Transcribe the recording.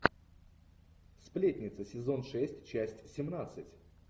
сплетницы сезон шесть часть семнадцать